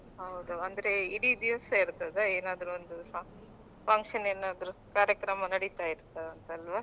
ಹೌದು ಅಂದ್ರೆ ಇಡೀ ದಿವಸ ಇರ್ತದ ಏನಾದ್ರು ಒಂದು ಸ~ function ಏನಾದ್ರು ಕಾರ್ಯಕ್ರಮ ನಡಿತಾ ಇರ್ತದಂತಲ್ವಾ.